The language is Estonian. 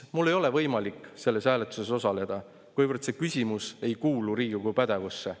Mul ei ole võimalik selles hääletuses osaleda, kuivõrd see küsimus ei kuulu Riigikogu pädevusse.